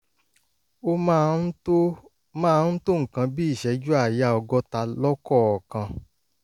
ó máa ń tó máa ń tó nǹkan bí ìṣẹ́jú àáyá ọgọ́ta lọ́kọ̀ọ̀kan